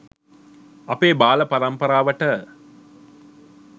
අපේ බාලපරම්පරාවට